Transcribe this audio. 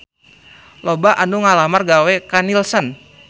Loba anu ngalamar gawe ka Nielsen